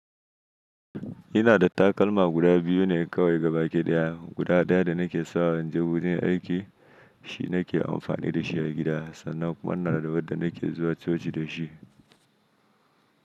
Ina da takalma guda biyu ne kawai gaba ɗaya. Guda ɗaya da nake sawa inje gurin aiki shi nake amfani da shi a gida sannan kuma ina da wadda nake zuwa coci da shi.